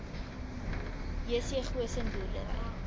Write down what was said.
jc goosen boerdery